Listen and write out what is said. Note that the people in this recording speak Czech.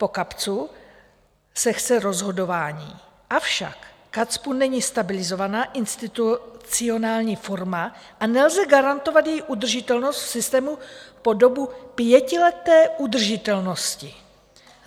Po KACPU se chce rozhodování, avšak KACPU není stabilizovaná institucionální forma a nelze garantovat její udržitelnost v systému po dobu pětileté udržitelnosti.